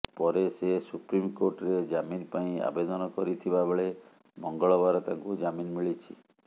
ପରେ ସେ ସୁପ୍ରିମକୋର୍ଟରେ ଜାମିନ ପାଇଁ ଆବେଦନ କରିଥିବା ବେଳେ ମଙ୍ଗଳବାର ତାଙ୍କୁ ଜାମିନ୍ ମିଳିଛି